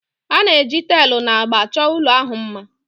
A na-eji taịlị na agba chọọ ụlọ ahụ mma